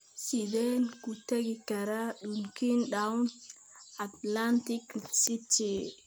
Sideen ku tagi karaa Dunkin'Donut Atlantic City?